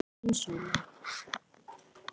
Þín, Sóley.